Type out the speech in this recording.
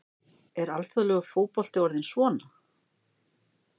Er alþjóðlegur fótbolti orðinn svona?